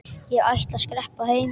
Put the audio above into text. Ég ætla að skreppa heim.